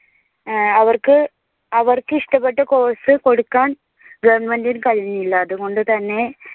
അവർക്ക് അവർക്ക് ഇഷ്ടപ്പെട്ട course കൊടുക്കാൻ government ഇനു കഴിയില്ല. അതുകൊണ്ടുതന്നെ